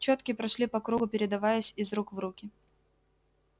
чётки прошли по кругу передаваясь из рук в руки